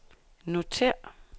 notér